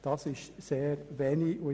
Das ist sehr wenig.